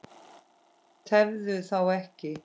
Tefðu þá ekki.